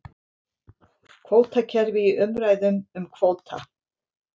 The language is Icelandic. Kvótakerfi í umræðum um kvóta